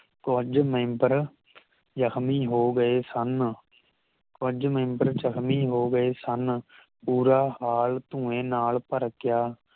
ਕੁਝ ਮੇਮ੍ਬਰ ਜਖਮੀ ਹੋਗਏ ਸਨ ਕੁਝ ਮੇਮ੍ਬਰ ਜਖਮੀ ਹੋਗਏ ਸਨ ਪੂਰਾ ਹਾਲ ਧੂਏਂ ਨਾਲ ਭਰ ਗਿਆ